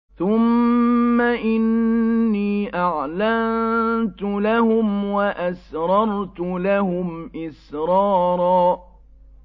ثُمَّ إِنِّي أَعْلَنتُ لَهُمْ وَأَسْرَرْتُ لَهُمْ إِسْرَارًا